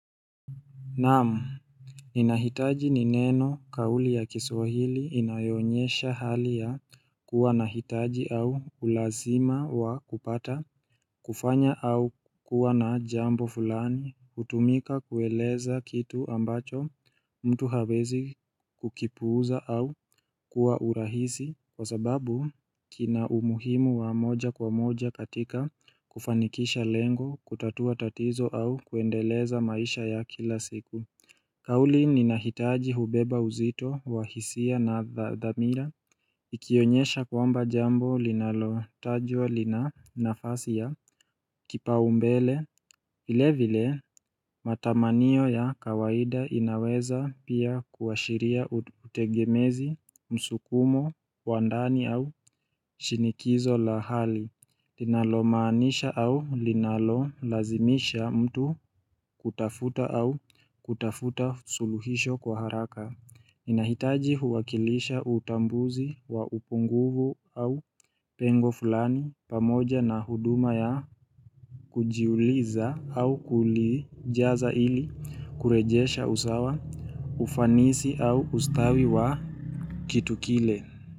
Naam ninahitaji ni neno kauli ya kiswahili inayoonyesha hali ya kuwa na uhitaji au ulazima wa kupata, kufanya au kuwa na jambo fulani, hutumika kueleza kitu ambacho mtu hawezi Kukipuuza au kuwa urahisi Kwa sababu kina umuhimu wa moja kwa moja katika kufanikisha lengo, kutatua tatizo au kuendeleza maisha ya kila siku kauli ninahitaji hubeba uzito wahisia na thamira Ikionyesha kwamba jambo linalotajwa lina nafasi ya kipaumbele vile vile matamaniyo ya kawaida inaweza pia kuashiria utegemezi, msukumo, wandani au shinikizo la hali linalomaanisha au linalo lazimisha mtu kutafuta au kutafuta suluhisho kwa haraka nahitaji huwakilisha utambuzi wa upunguvu au pengo fulani pamoja na huduma ya kujiuliza au kulijaza ili kurejesha usawa ufanisi au ustawi wa kitu kile.